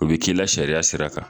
U bi k'i la sariya sira kan